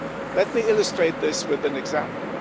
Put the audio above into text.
Let me illustrate this with an example.